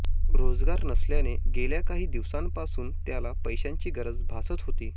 रोजगार नसल्याने गेल्या काही दिवसांपासून त्याला पैशांची गरज भासत होती